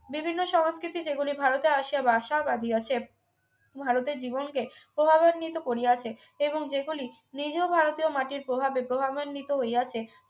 বিভিন্ন সংস্কৃতি যেগুলি ভারতে আসিয়া বাসা বাঁধিয়াছে ভারতের জীবন কে প্রভাবান্বিত করিয়াছে এবং যেগুলি নিজেও ভারতীয় মাটির প্রভাবে প্রভাবান্বিত হইয়াছে